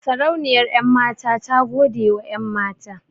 Sarauniyar 'yanmata ta godewa 'yanmata.